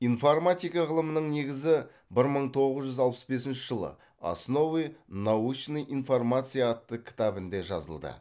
информатика ғылымның негізі бір мың тоғыз жүз алпыс бесінші жылы основы научной информации атты кітабінде жазылды